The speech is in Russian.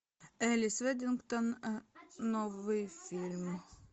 элис вэддингтон новый фильм